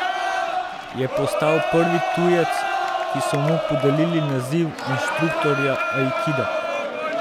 Je postal prvi tujec, ki so mu podelili naziv inštruktorja aikida.